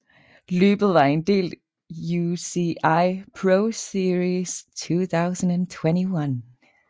Løbet var en del UCI ProSeries 2021